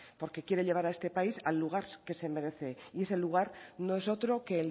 porque quiere llevar a este país al lugar que se merece y ese lugar no es otro que